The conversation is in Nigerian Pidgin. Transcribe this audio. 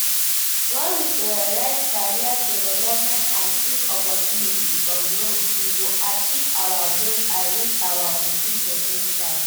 When we prioritize career development and seek opportunities for growth, we go achieve our goals and reach our full po ten tial.